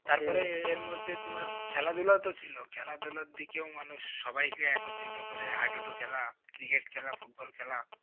এর মধ্যে তোমার খেলাধুলাও তো ছিল খেলা ধুলার দিকেও মানুষ সবাই কে একত্রিত করে হা ডু ডু খেলা cricket খেলা football খেলা